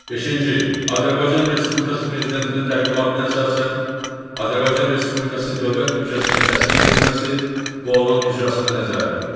Beşinci, Azərbaycan Respublikası Prezidentinin təqdimatına əsasən Azərbaycan Respublikası Dövlət büdcəsinin təsdiq edilməsi və onun icrasına nəzarət.